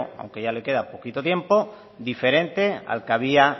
aunque ya le queda poquito tiempo diferente al que había